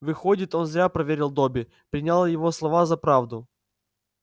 выходит он зря проверил добби принял его слова за правду